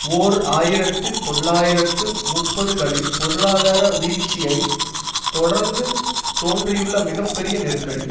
ஓர் ஆயிரத்து தொள்ளாயிரத்து முப்பதுகளின் பொருளாதார வீழ்ச்சியைத் தொடர்ந்து தோன்றியுள்ள மிக பெரிய நெருக்கடி